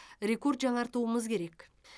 рекорд жаңартуымыз керек